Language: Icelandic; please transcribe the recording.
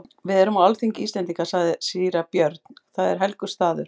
Við erum á alþingi Íslendinga, sagði síra Björn,-það er helgur staður.